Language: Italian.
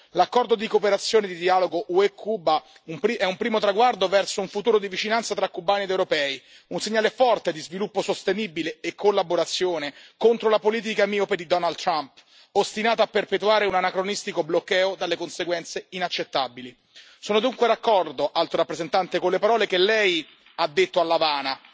L'accordo di cooperazione e di dialogo UE Cuba è un primo traguardo verso un futuro di vicinanza tra cubani ed europei, un segnale forte di sviluppo sostenibile e collaborazione contro la politica miope di Donald Trump, ostinato a perpetuare un anacronistico bloqueo dalle conseguenze inaccettabili. Sono dunque d'accordo, Alto rappresentante, con le parole che Lei ha detto all'Avana